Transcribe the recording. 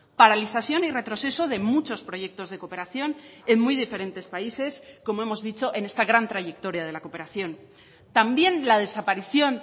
paralización y retroceso de muchos proyectos de cooperación en muy diferentes países como hemos dicho en esta gran trayectoria de la cooperación también la desaparición